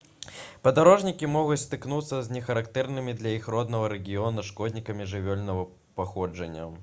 падарожнікі могуць сутыкнуцца з нехарактэрнымі для іх роднага рэгіёна шкоднікамі жывёльнага паходжання